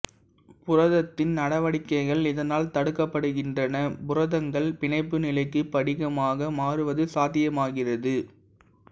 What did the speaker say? புரதத்தின் நடவடிக்கைகள் இதனால் தடுக்கப்படுகின்றன புரதங்கள் பிணைப்பு நிலைக்கு படிகமாக மாறுவது சாத்தியமாகிறது